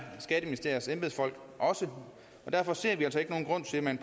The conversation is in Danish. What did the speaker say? skatteministeriets embedsfolk også og derfor ser vi altså ikke nogen grund til at man